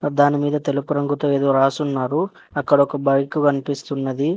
దాని మీద తెలుపు రంగుతో ఏదో రాసున్నారు అక్కడ ఒక బైక్ కనిపిస్తున్నది.